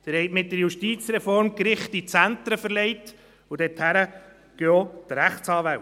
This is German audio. Sie haben die Gerichte mit der Justizreform in die Zentren verlegt, und dorthin gehen auch die Rechtsanwälte.